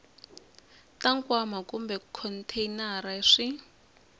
ta nkwama kumbe khonteyinara swi